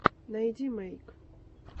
найди мэйк